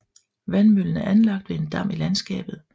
Vandmøllen er anlagt ved en dam i landskabet